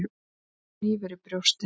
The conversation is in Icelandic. Eins og hnífur í brjóstið.